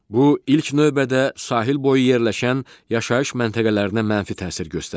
Bu ilk növbədə sahilboyu yerləşən yaşayış məntəqələrinə mənfi təsir göstərdi.